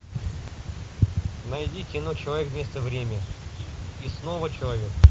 найди кино человек место время и снова человек